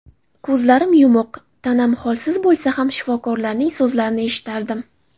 Ko‘zlarim yumuq, tanam holsiz bo‘lsa ham shifokorlarning so‘zlarini eshitardim.